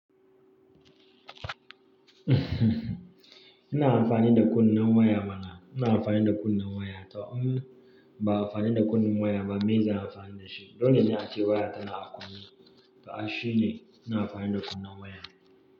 Ina amfani da kunnen waya mana. Ina amfani da kunnen waya tau. Ba amfani da kunnen waya ba. Me zan yi amfani da shi? Dole ne a ce waya tana a kunne. Ga shi ne, ina amfani da kunnen waya.